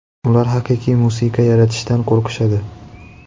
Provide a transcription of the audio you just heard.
Ular haqiqiy musiqa yaratishdan qo‘rqishadi.